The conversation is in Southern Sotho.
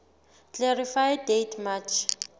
clarify date march